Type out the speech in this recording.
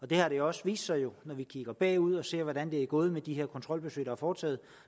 det har jo også vist sig når vi kigger bagud og ser hvordan det er gået med de kontrolbesøg der er foretaget at